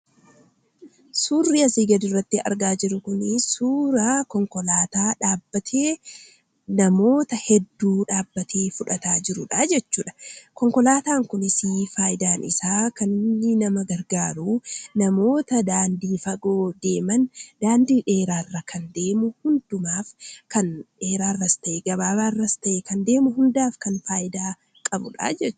Suurri asii gaditti argaa jirru kun suuraa konkolaataa dhaabbatee namoota hedduu dhaabbatee fudhataa jirudha jechuudha. Konkolaataan kunis faayidaan isaa kan inni nama gargaaru, namoota daandii fagoo deeman daandii dheeraa irras ta'ee gabaabaa irra deemu hundumaaf faayidaa qabudha jechuudha.